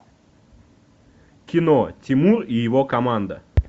кино тимур и его команда